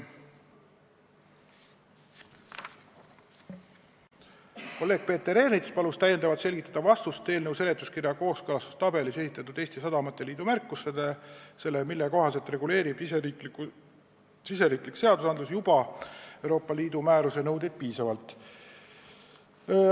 Kolleeg Peeter Ernits palus täiendavalt selgitada vastust eelnõu seletuskirja kooskõlastustabelis esitatud Eesti Sadamate Liidu märkusele, mille kohaselt arvestab meie riigi seadustik Euroopa Liidu määruse nõudeid niigi piisavalt.